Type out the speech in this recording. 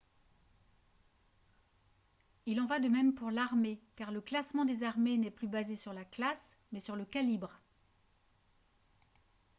il en va de même pour l'armée car le classement des armées n'est plus basé sur la classe mais sur le calibre